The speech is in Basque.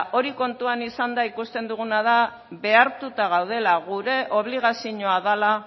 hori kontutan izanda ikusten duguna da behartuta gaudela gure obligazioa dela